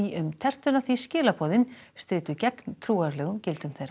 um tertuna því skilaboðin stríddu gegn trúarlegum gildum þeirra